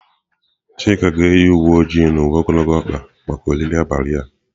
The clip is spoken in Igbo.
Chika ga-eyi uwe ojii na uwe ogologo ọkpa maka oriri abalị a.